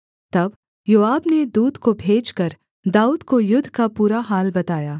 तब योआब ने दूत को भेजकर दाऊद को युद्ध का पूरा हाल बताया